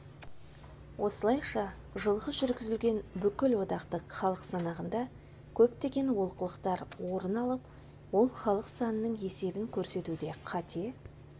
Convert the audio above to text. осылайша жылғы жүргізілген бүкілодақтық халық санағында көптеген олқылықтар орын алып ол халық санының есебін көрсетуде қате